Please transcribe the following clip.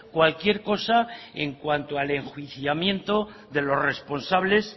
cualquier cosa en cuanto al enjuiciamiento de los responsables